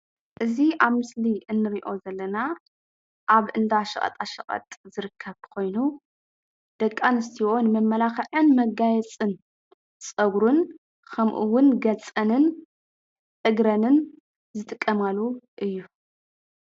እዚ አብ ምስሊ እንሪኦ ዘለና አብ እንዳ ሽቀጣሸቀጥ ኮይኑ ደቂ አንስትዮ ንመመላክዕን መጋየፀን ፀጉርን ከምኡ አውን ገፀንን እግረንን ዝጥቀማሉ እዩ።